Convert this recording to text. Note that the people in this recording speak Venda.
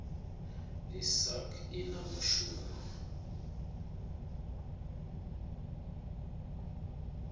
i sasc i na mushumo